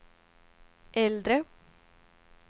äldre